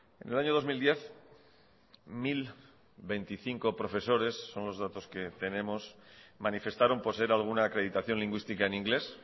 en el año dos mil diez mil veinticinco profesores son los datos que tenemos manifestaron poseer alguna acreditación lingüística en inglés